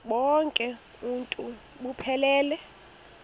bonk uuntu buphelele